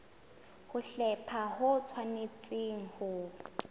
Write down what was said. ho hlepha ho tshwanetse ho